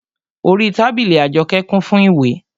Orí tábìlì Àjọkẹ́ kún fún ìwé